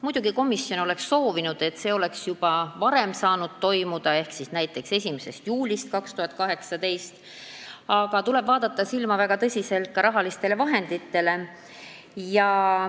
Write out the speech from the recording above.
Muidugi oleks komisjon soovinud, et see oleks saanud toimuda juba varem ehk näiteks 1. juulist 2018, aga tuleb väga tõsiselt vaadata ka rahalisi vahendeid.